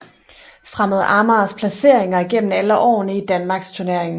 Fremad Amagers placeringer igennem alle årene i Danmarksturneringen